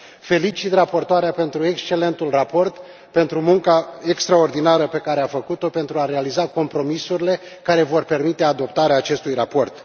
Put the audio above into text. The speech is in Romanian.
Felicit raportoarea pentru excelentul raport, pentru munca extraordinară pe care a făcut o pentru a realiza compromisurile care vor permite adoptarea acestui raport.